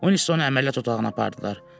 Uinstonu əməliyyat otağına apardılar.